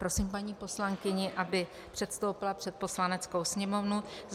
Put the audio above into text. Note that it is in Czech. Prosím paní poslankyni, aby předstoupila před Poslaneckou sněmovnu.